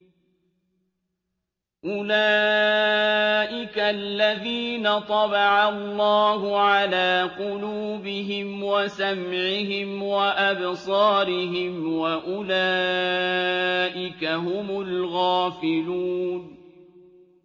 أُولَٰئِكَ الَّذِينَ طَبَعَ اللَّهُ عَلَىٰ قُلُوبِهِمْ وَسَمْعِهِمْ وَأَبْصَارِهِمْ ۖ وَأُولَٰئِكَ هُمُ الْغَافِلُونَ